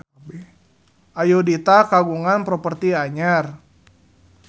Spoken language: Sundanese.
Ayudhita kagungan properti anyar